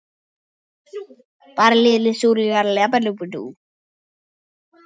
Ég hef aldrei þolað karla sem smakka.